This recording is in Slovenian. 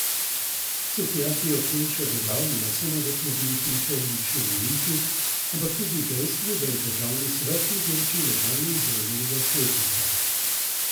Cukjati je ob tem še dodal, ne samo, da smo bili priča uličnemu linču, ampak tudi dejstvu, da je državni svet izločil legalno izvoljenega svetnika.